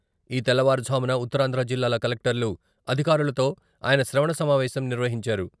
ఈ తెల్లవారు జామున ఉత్తరాంధ్ర జిల్లాల కలెక్టర్లు, అధికారులతో ఆయన శ్రవణ సమావేశం నిర్వహించారు.